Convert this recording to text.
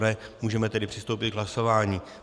Ne, můžeme tedy přistoupit k hlasování.